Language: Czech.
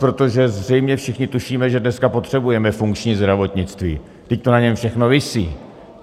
Protože zřejmě všichni tušíme, že dneska potřebujeme funkční zdravotnictví, vždyť to na něm všechno visí.